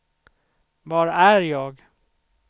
var är jag